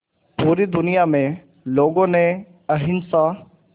पूरी दुनिया में लोगों ने अहिंसा